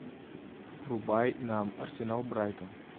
врубай нам арсенал брайтон